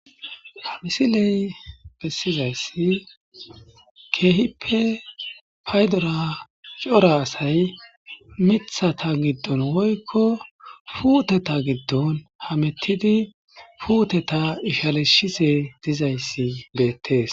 ha misiley bessizayssi keehippe paydora cora asay mithata giddon woykko puuteta giddon hamettidi puuteta ishalishise dizayssi beettees